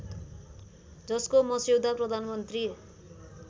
जसको मस्यौदा प्रधानमन्त्री